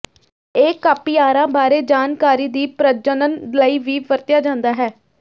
ਇਹ ਕਾਪਿਆਰਾਂ ਬਾਰੇ ਜਾਣਕਾਰੀ ਦੀ ਪ੍ਰਜਨਨ ਲਈ ਵੀ ਵਰਤਿਆ ਜਾਂਦਾ ਹੈ